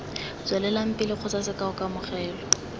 tswelelang pele kgotsa sekao kamogelo